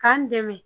K'an dɛmɛ